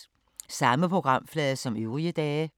Samme programflade som øvrige dage